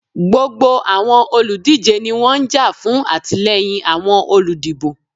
Gbogbo awọn oludije ni wọn n ja fun atilẹyin awọn oludibo.